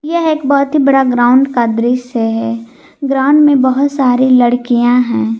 यह एक बहुत ही बड़ा ग्राउंड का दृश्य है ग्राउंड में बहुत सारी लड़कियां हैं।